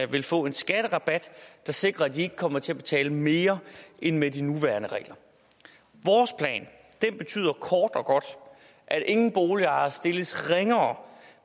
vil få en skatterabat der sikrer at de ikke kommer til at betale mere end med de nuværende regler vores plan betyder kort og godt at ingen boligejere stilles ringere